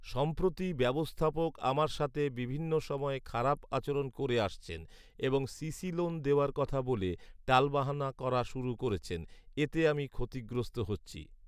সম্প্রতি ব্যবস্থাপক আমার সাথে বিভিন্ন সময়ে খারাপ আচরণ করে আসছেন এবং সিসি লোন দেওয়ার কথা বলে টালবাহানা করা শুরু করছেন এতে আমি ক্ষতিগ্রস্থ হচ্ছি